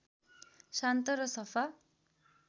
शान्त र सफा